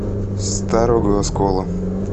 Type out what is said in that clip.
старого оскола